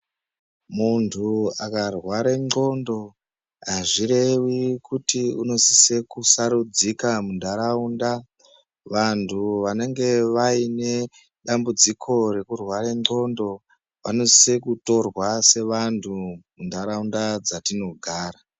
Muntu akarware ndxondo azvirevi kuti unosise kusarudzika muntaraunda. Vantu vanenge vaine dambudziko rekurware ndxondo vanosise kutorwa sevantu muntaraunda dzatinogara.